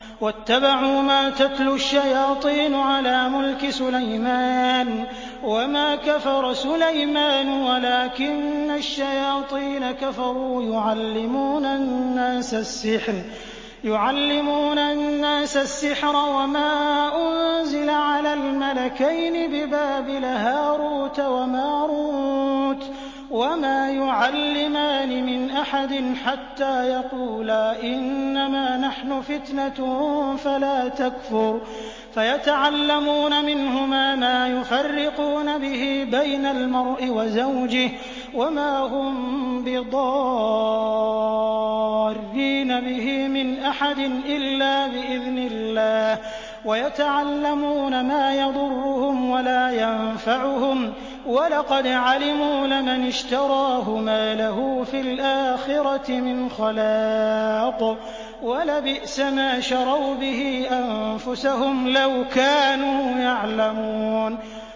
وَاتَّبَعُوا مَا تَتْلُو الشَّيَاطِينُ عَلَىٰ مُلْكِ سُلَيْمَانَ ۖ وَمَا كَفَرَ سُلَيْمَانُ وَلَٰكِنَّ الشَّيَاطِينَ كَفَرُوا يُعَلِّمُونَ النَّاسَ السِّحْرَ وَمَا أُنزِلَ عَلَى الْمَلَكَيْنِ بِبَابِلَ هَارُوتَ وَمَارُوتَ ۚ وَمَا يُعَلِّمَانِ مِنْ أَحَدٍ حَتَّىٰ يَقُولَا إِنَّمَا نَحْنُ فِتْنَةٌ فَلَا تَكْفُرْ ۖ فَيَتَعَلَّمُونَ مِنْهُمَا مَا يُفَرِّقُونَ بِهِ بَيْنَ الْمَرْءِ وَزَوْجِهِ ۚ وَمَا هُم بِضَارِّينَ بِهِ مِنْ أَحَدٍ إِلَّا بِإِذْنِ اللَّهِ ۚ وَيَتَعَلَّمُونَ مَا يَضُرُّهُمْ وَلَا يَنفَعُهُمْ ۚ وَلَقَدْ عَلِمُوا لَمَنِ اشْتَرَاهُ مَا لَهُ فِي الْآخِرَةِ مِنْ خَلَاقٍ ۚ وَلَبِئْسَ مَا شَرَوْا بِهِ أَنفُسَهُمْ ۚ لَوْ كَانُوا يَعْلَمُونَ